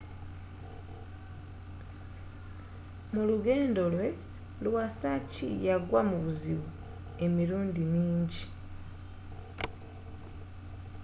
mulugendo lwe iwasaki yagwa mubuzibu emirundi minji